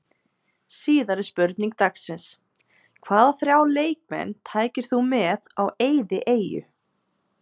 Síðari spurning dagsins: Hvaða þrjá leikmenn tækir þú með á eyðieyju?